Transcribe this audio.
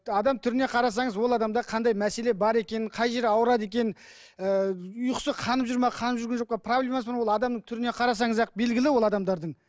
адам түріне қарасаңыз ол адамда қандай мәселе бар екенін қай жері ауырады екенін ііі ұйқысы қанып жүр ме қанып жүрген жоқ па проблемасы бар ма ол адамның түріне қарасаңыз ақ ол белгілі ол адамдардың